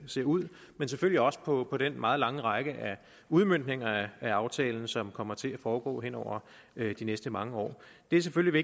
ser ud men selvfølgelig også på den meget lange række af udmøntninger af aftalen som kommer til at foregå hen over de næste mange år det er selvfølgelig